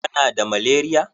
Kana da malaria?